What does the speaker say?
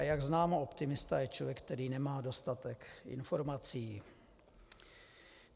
A jak známo, optimista je člověk, který nemá dostatek informací.